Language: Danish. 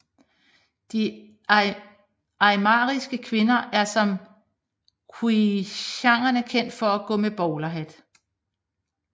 De aymariske kvinder er som Quechuaerne kendt for at gå med bowlerhat